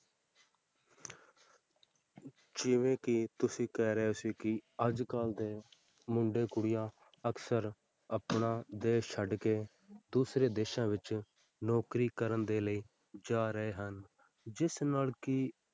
ਜਿਵੇਂ ਕਿ ਤੁਸੀਂ ਕਹਿ ਰਹੇ ਸੀ ਕਿ ਅੱਜ ਕੱਲ੍ਹ ਦੇ ਮੁੰਡੇ ਕੁੜੀਆਂ ਅਕਸਰ ਆਪਣਾ ਦੇਸ ਛੱਡ ਕੇ ਦੂਸਰੇ ਦੇਸਾਂ ਵਿੱਚ ਨੌਕਰੀ ਕਰਨ ਦੇ ਲਈ ਜਾ ਰਹੇ ਹਨ, ਜਿਸ ਨਾਲ ਕਿ